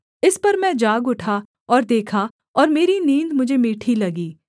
इस पर मैं जाग उठा और देखा और मेरी नींद मुझे मीठी लगी